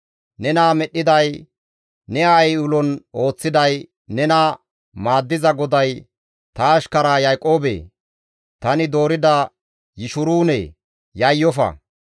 Nena medhdhiday, ne aayey ulon ooththiday, nena maaddiza GODAY, ‹Ta ashkara Yaaqoobee! Tani doorida Yishuruune! Yayyofa.